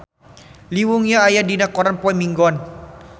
Lee Yo Won aya dina koran poe Minggon